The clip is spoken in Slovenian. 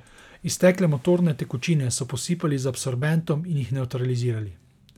Iztekle motorne tekočine so posipali z absorbentom in jih nevtralizirali.